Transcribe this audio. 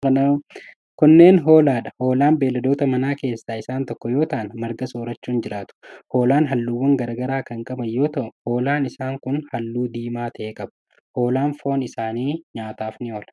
Kunneen ,hoolaa dha. Hoolaan beeyiladoota manaa keessaa isaan tokko yoo ta'an, marga soorachuun jiraatu. Hoolaan haalluuwwan garaa garaa kan qaban yoo ta'u, hoolaan isaan kun haalluu diimaa ta'e qabu. Hoolaan foon isaanii nyaataf ni oola.